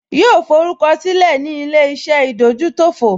Yóò forúkọ sílẹ̀ ní ilé-iṣẹ́ ìdójútòfò